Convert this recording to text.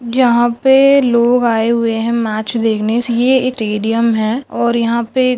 जहां पे लोग आये हुए है मैच देखने सी_ए स्टेडियम है। और यंहा पे--